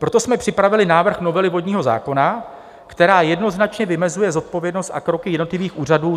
Proto jsme připravili návrh novely vodního zákona, která jednoznačně vymezuje zodpovědnost a kroky jednotlivých úřadů.